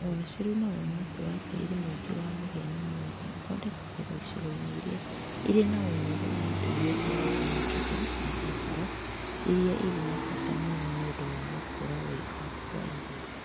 Ũgacĩru na ũramati wa tĩĩri Tĩĩri mũingĩ wa mũhĩa na mwere ũthondekagĩrwo icigoinĩ iria irĩna ũnyihu wa indo iria njega ta nitrogen na phosphorus iria irĩ bata muno niũndũ wa gũkũra wega kwa irio